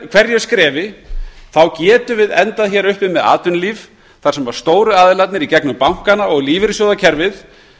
hverju skrefi getum við endað hér uppi með atvinnulíf þar sem stóru aðilarnir í gegnum bankana og lífeyrissjóðakerfið